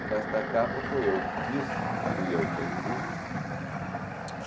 Esta capa fui eu que fiz, fui eu quem fiz.